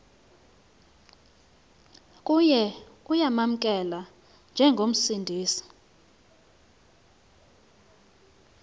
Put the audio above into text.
kuye uyamamkela njengomsindisi